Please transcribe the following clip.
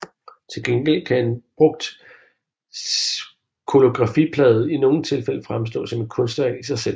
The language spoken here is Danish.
Til gengæld kan en brugt collografiplade i nogle tilfælde fremstå som et kunstværk i sig selv